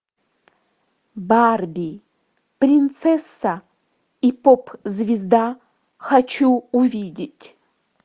барби принцесса и поп звезда хочу увидеть